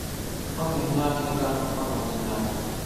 Ọ na-enye aka ịkọ akụkọ na ọdịnala.